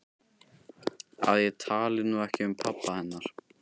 Að ég tali nú ekki um pabba hennar.